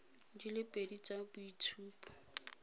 di le pedi tsa boitshupo